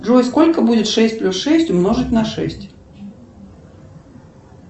джой сколько будет шесть плюс шесть умножить на шесть